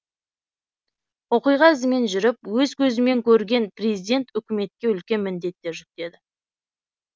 оқиға ізімен жүріп өз көзімен көрген президент үкіметке үлкен міндеттер жүктеді